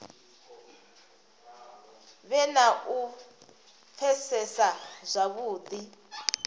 vhe na u pfesesa zwavhudi